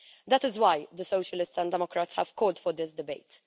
That is why the Socialists and Democrats have called for this debate.